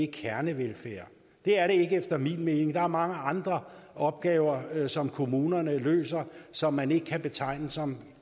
kernevelfærd det er det ikke efter min mening der er mange andre opgaver som kommunerne løser som man ikke kan betegne som